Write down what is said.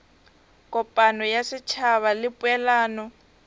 kopano ya setšhaba le poelano